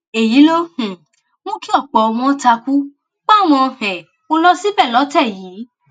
èyí ló um mú kí ọpọ wọn takú páwọn um ó lọ síbẹ lọtẹ yìí